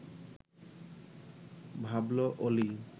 ভাবল অলি